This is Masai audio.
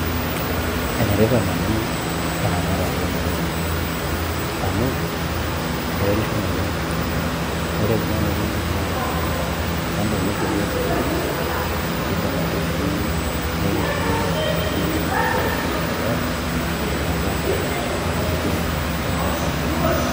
Enetipat naleng' eramatare oomotonyik amu keretisho naleng' ore kuna motonyik naa kando naisho iyiook nkiri kiidim ake sii nikintumia nkik enye aitaa mbolea naapuo aapuo aaret mazingira enkop ang'.